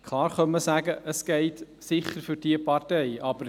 Klar, man könnte sagen, es sei jene, welche für diese Partei gelte.